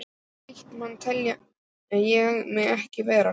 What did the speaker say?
Slíkan mann tel ég mig ekki vera.